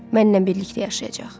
Mənnən birlikdə yaşayacaq.